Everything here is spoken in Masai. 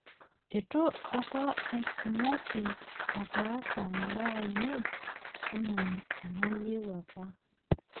itu apa atmoki ataas imbaa ainei enaa enayieu apa